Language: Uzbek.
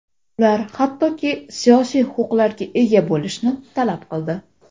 Ular hattoki siyosiy huquqlarga ega bo‘lishni talab qildi.